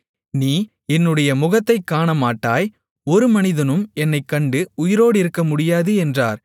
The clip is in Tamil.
நீ என்னுடைய முகத்தைக் காணமாட்டாய் ஒரு மனிதனும் என்னைக் கண்டு உயிரோடிருக்கமுடியாது என்றார்